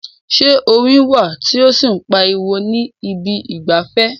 Ṣé orin wà tí ó sì ń pariwo ní ibi ìgbafẹ́?